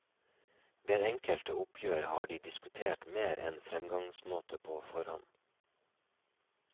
Ved enkelte oppgjør har de diskutert mer enn fremgangsmåte på forhånd.